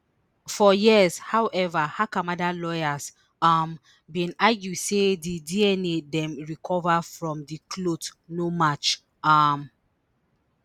for years however hakamada lawyers um bin argue say di dna dem recova from di clothes no match um